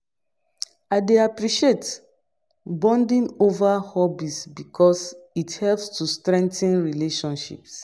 I dey appreciate bonding over hobbies because it helps to strengthen relationships.